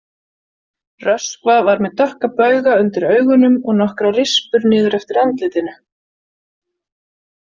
Röskva var með dökka bauga undir augunum og nokkrar rispur niður eftir andlitinu.